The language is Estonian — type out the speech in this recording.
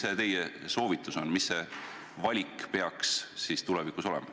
Mis on teie soovitus, milline valik peaks olema?